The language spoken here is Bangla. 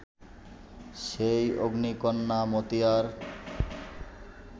সেই অগ্নিকন্যা মতিয়ার